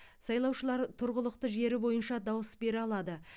сайлаушылар тұрғылықты жері бойынша дауыс бере алады